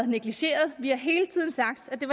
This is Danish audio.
negligeret vi har hele tiden sagt at det